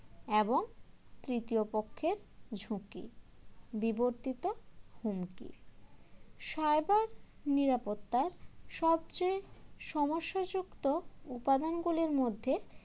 এবং তৃতীয় পক্ষের ঝুঁকি বিবর্তিত হুমকি cyber নিরাপত্তার সবচেয়ে সমস্যাযুক্ত উপাদানগুলির মধ্যে